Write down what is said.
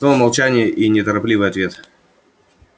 снова молчание и неторопливый ответ